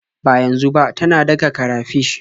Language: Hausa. Ba yanzu ba, tana daka karafish.